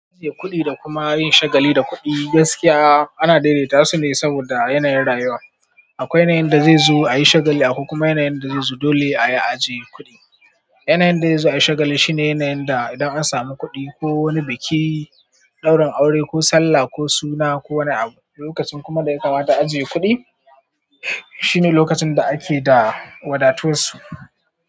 Ajiye kuɗi da kuma yin shagali da kuɗi gaskiya ana daidaitasu ne saboda yanayin rayuwa. Akwai yanayin da zai zo a yi shagali, akwai kuma yanayin da zai zo dole a yi ajiye kuɗi. Yanayin da zai zo a yi shagali shine yanayin da idan an samu kuɗi ko wani biki, ɗaurin aure ko sallah ko suna ko wani abu, lokacin kuma da ya kamata a ajiye kuɗi, shine lokacin da ake da wadatansu.